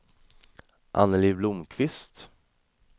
Anneli Blomqvist